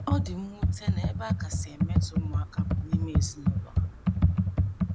Ọ dị mwute na ebe a kasị emetọ ụmụaka bụ n’ime ezinụlọ ha.